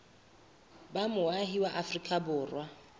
ba moahi wa afrika borwa